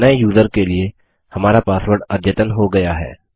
अब नये यूज़र के लिए हमारा पासवर्ड अद्यतन हो गया है